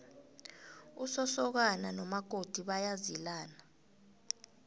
usosokana nomakoti bayazilana